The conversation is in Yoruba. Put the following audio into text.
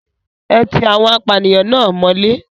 Ẹ ti awon apànìyàn náà mọ́lé.